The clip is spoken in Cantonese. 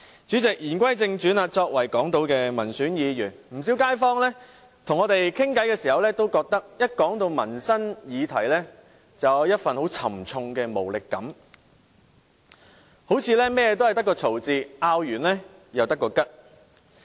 主席，言歸正傳，我是港島區的民選議員，不少街坊跟我們交談時都表示，一說到民生議題，就有一份很重的無力感，似乎凡事皆要爭拗一番，爭拗過後又沒有結果。